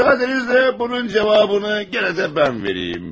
Müsaadenizle bunun cevabını gene de ben vereyim.